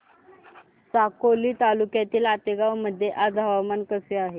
साकोली तालुक्यातील आतेगाव मध्ये आज हवामान कसे आहे